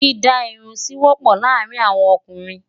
Dídá Irun sí wọ́pọ̀ láàárín àwọn ọkùnrin.